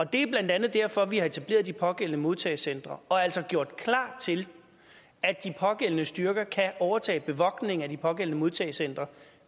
det er blandt andet derfor at vi har etableret de pågældende modtagecentre og altså har gjort klar til at de pågældende styrker kan overtage bevogtning af de pågældende modtagecentre